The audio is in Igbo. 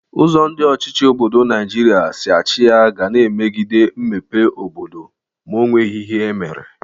Ụzọ ndị ọchịchị obodo Naijiria si achị ya ga na-emegide mmepe obodo ma o nweghi ihe emere.